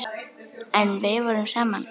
En við vorum saman.